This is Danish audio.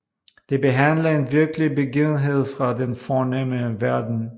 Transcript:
Det behandler en virkelig begivenhed fra den fornemme verden